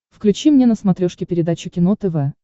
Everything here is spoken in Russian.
включи мне на смотрешке передачу кино тв